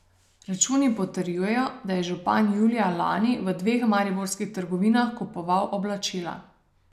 Računi potrjujejo, da je župan julija lani v dveh mariborskih trgovinah kupoval oblačila.